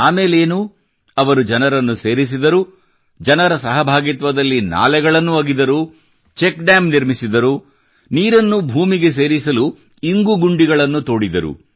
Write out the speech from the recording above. ಆಮೇಲೇನು ಅವರು ಜನರನ್ನು ಸೇರಿಸಿದರು ಜನರ ಸಹಭಾಗಿತ್ವದಲ್ಲಿ ನಾಲೆಗಳನ್ನು ಅಗೆದರು ಚೆಕ್ ಡ್ಯಾಮ್ ನಿರ್ಮಿಸಿದರು ನೀರನ್ನು ಭೂಮಿಗೆ ಸೇರಿಸಲು ಇಂಗು ಗುಂಡಿಗಳನ್ನು ತೋಡಿದರು